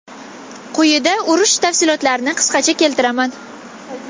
Quyida urush tafsilotlarini qisqacha keltiraman.